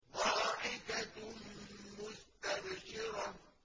ضَاحِكَةٌ مُّسْتَبْشِرَةٌ